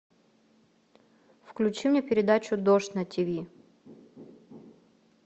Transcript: включи мне передачу дождь на тиви